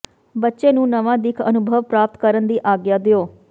ਬੱਚੇ ਨੂੰ ਨਵਾਂ ਦਿੱਖ ਅਨੁਭਵ ਪ੍ਰਾਪਤ ਕਰਨ ਦੀ ਆਗਿਆ ਦਿਓ